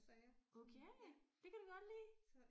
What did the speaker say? Okay det kan du godt lide?